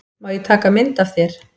Má ég taka mynd af þér?